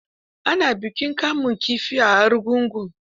Ana bikin kamun kifi a kogin argungu.